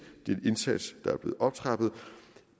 det er en indsats der er blevet optrappet